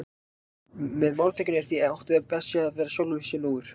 Með máltækinu er því átt við að best sé að vera sjálfum sér nógur.